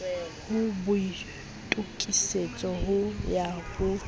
ho boitokisetso ho ya ho